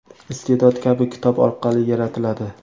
iste’dod kabi kitob orqali yaratiladi.